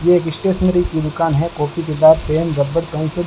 ये एक स्टेशनरी की दुकान है कॉपी किताब पेन रबर पेंसिल --